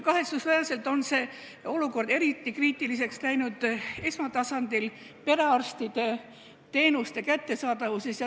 Kahetsusväärselt on see olukord eriti kriitiliseks läinud esmatasandil, perearstide abi kättesaadavuses.